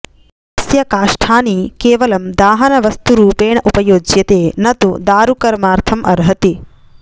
अस्य काष्टानि केवलं दाहनवस्तुरुपेण उपयोज्यते नतु दारुकर्मार्थम् अर्हति